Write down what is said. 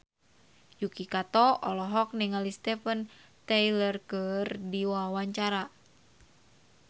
Yuki Kato olohok ningali Steven Tyler keur diwawancara